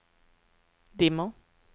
dimmer